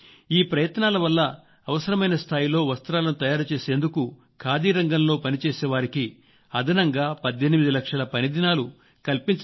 ఈ ప్రయత్నాల వల్ల అవసరమైన స్థాయిలో వస్త్రాలను తయారుచేసేందుకు ఖాదీ రంగంలో పనిచేసే వారికి అదనంగా 18 లక్షల పని దినాలు కల్పించవలసిన అవసరం ఏర్పడిందని నాకు చెప్పారు